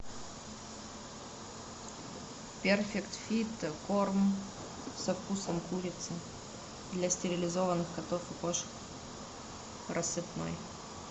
перфект фит корм со вкусом курицы для стерилизованных котов и кошек рассыпной